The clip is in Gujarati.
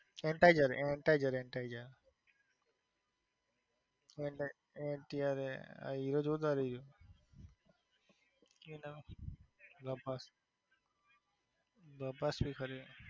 હીરો જોરદાર થઈ ગયો speaker છે